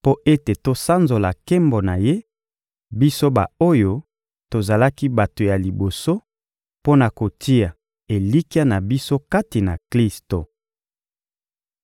mpo ete tosanzola nkembo na Ye, biso ba-oyo tozalaki bato ya liboso mpo na kotia elikya na biso kati na Klisto.